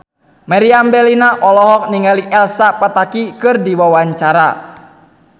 Meriam Bellina olohok ningali Elsa Pataky keur diwawancara